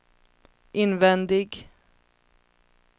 invändig